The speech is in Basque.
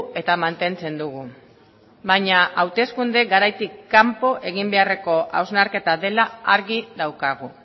eta mantentzen dugu baina hauteskunde garaitik kanpo egin beharreko hausnarketa dela argi daukagu